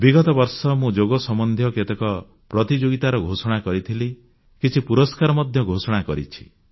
ବିଗତ ବର୍ଷ ମୁଁ ଯୋଗ ସମ୍ବନ୍ଧୀୟ କେତେକ ପ୍ରତିଯୋଗିତା ଘୋଷଣା କରିଥିଲି କିଛି ପୁରସ୍କାର ମଧ୍ୟ ଘୋଷଣା କରିଛି